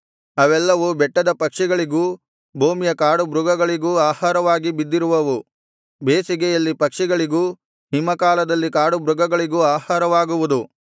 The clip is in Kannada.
ಅವೆಲ್ಲವು ಬೆಟ್ಟದ ಪಕ್ಷಿಗಳಿಗೂ ಭೂಮಿಯ ಕಾಡುಮೃಗಗಳಿಗೂ ಆಹಾರವಾಗಿ ಬಿದ್ದಿರುವವು ಬೇಸಿಗೆಯಲ್ಲಿ ಪಕ್ಷಿಗಳಿಗೂ ಹಿಮಕಾಲದಲ್ಲಿ ಕಾಡುಮೃಗಗಳಿಗೂ ಆಹಾರವಾಗುವುದು